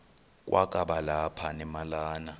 kwakaba lapha nemalana